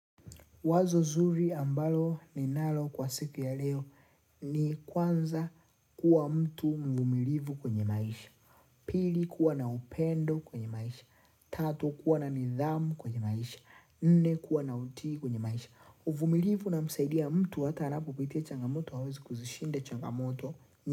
Wazo nzuri ambalo ninalo kwa siku ya leo ni kwanza kuwa mtu mvumilivu kwenye maisha. Pili kuwa na upendo kwenye maisha. Tatu kuwa na nidhamu kwenye maisha. Nne kuwa na utii kwenye maisha. Uvumilivu inamsaidia mtu hata anapopitia changamoto hawezi kuzishinda changamoto.